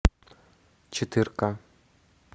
четырка